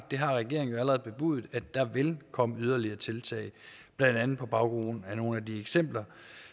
det har regeringen allerede bebudet at der vil komme yderligere tiltag blandt andet på baggrund af nogle af de eksempler